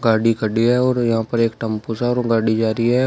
गाड़ी खड़ी है और यहां पर एक टम्पो सा है और वो गाड़ी जा रही है।